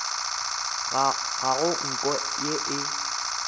ga go nko ye e